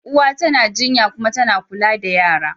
Uwa tana jinya kuma tana kula da yara.